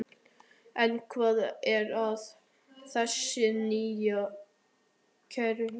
En hvað er að þessu nýja kerfi?